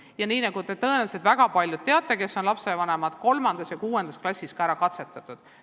Ja nii nagu väga paljud teist, kes on lapsevanemad, teavad, on neid teste 3. ja 6. klassis ka juba katsetatud.